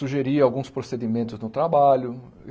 Sugeri alguns procedimentos no trabalho.